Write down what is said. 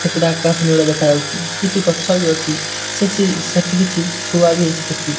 ସେପଟେ ଆକାଶ ନୀଳ ଦେଖାଯାଉଚି କିଛି ଗଛ ବି ଅଛି ସେସି ସେଠି କିଛି ଥୁଆ ବି ହେଇଚି ପେଟି।